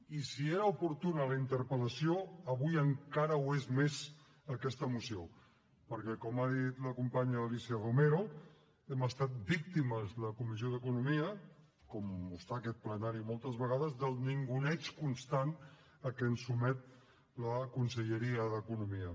i si era oportuna la interpel·lació avui encara ho és més aquesta moció perquè com ha dit la companya alícia romero hem estat víctimes la comissió d’economia com ho està aquest plenari moltes vegades del ninguneig constant a què ens sotmet la conselleria d’economia